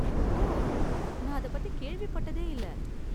ஓ, நான் அதைப்பத்தி கேள்விப்பட்டதே இல்ல.